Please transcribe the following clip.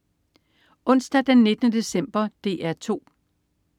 Onsdag den 19. december - DR 2: